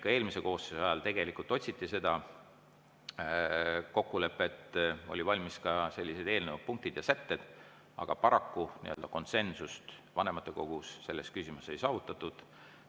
Ka eelmise koosseisu ajal otsiti seda kokkulepet, olid valmis ka eelnõu punktid ja sätted, aga paraku konsensust vanematekogus selles küsimuses ei saavutatud.